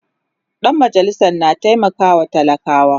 Dan majalisan na taimakawa talakawa